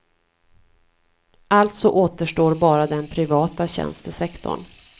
Alltså återstår bara den privata tjänstesektorn.